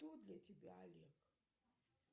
кто для тебя олег